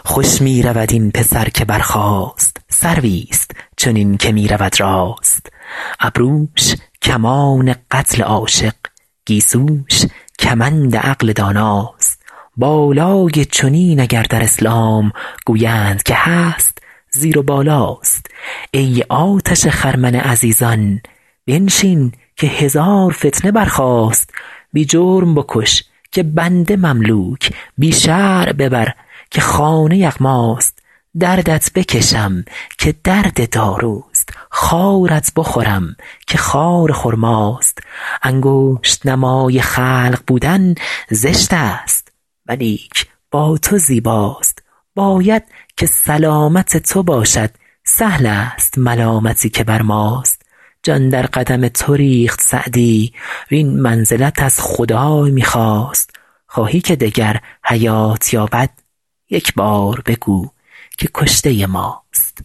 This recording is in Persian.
خوش می رود این پسر که برخاست سرویست چنین که می رود راست ابروش کمان قتل عاشق گیسوش کمند عقل داناست بالای چنین اگر در اسلام گویند که هست زیر و بالاست ای آتش خرمن عزیزان بنشین که هزار فتنه برخاست بی جرم بکش که بنده مملوک بی شرع ببر که خانه یغماست دردت بکشم که درد داروست خارت بخورم که خار خرماست انگشت نمای خلق بودن زشت است ولیک با تو زیباست باید که سلامت تو باشد سهل است ملامتی که بر ماست جان در قدم تو ریخت سعدی وین منزلت از خدای می خواست خواهی که دگر حیات یابد یک بار بگو که کشته ماست